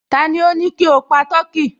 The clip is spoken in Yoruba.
Tani ó ní kí o pa tọkí?